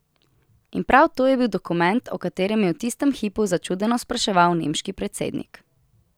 In prav to je bil dokument, o katerem je v tistem hipu začudeno spraševal nemški predsednik.